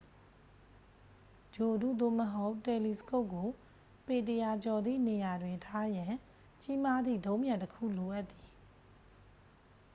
ဂြိုဟ်တု သို့မဟုတ် တယ်လီစကုပ်ကို ပေ 100 ကျော်သည့် နေရာတွင် ထားရန် ကြီးမားသည့် ဒုံးပျံတစ်ခုလိုအပ်သည်